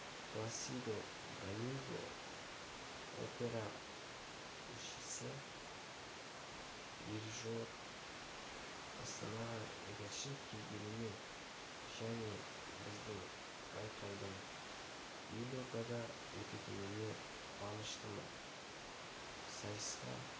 пласидо доминго опера ншісі дирижер астанаға екінші рет келгеніме жне біздің байқаудын елордада өтетініне қуаныштымын сайысқа